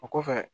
O kɔfɛ